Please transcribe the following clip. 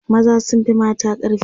maza sun Fi mata ƙarfi